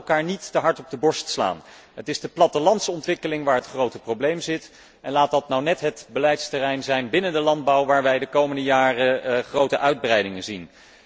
Maar laten wij onszelf niet te hard op de borst kloppen. Het is de plattelandsontwikkeling waar het grote probleem zit, en laat dat nu net het beleidsterrein binnen de landbouw zijn waar wij de komende jaren grote uitbreidingen zien.